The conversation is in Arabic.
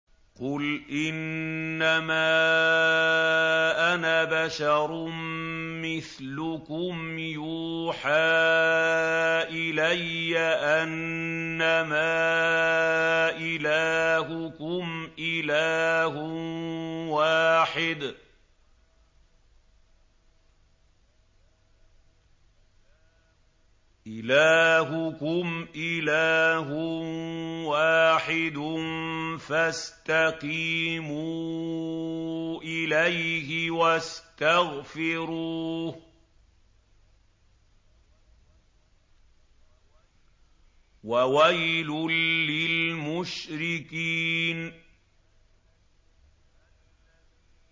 قُلْ إِنَّمَا أَنَا بَشَرٌ مِّثْلُكُمْ يُوحَىٰ إِلَيَّ أَنَّمَا إِلَٰهُكُمْ إِلَٰهٌ وَاحِدٌ فَاسْتَقِيمُوا إِلَيْهِ وَاسْتَغْفِرُوهُ ۗ وَوَيْلٌ لِّلْمُشْرِكِينَ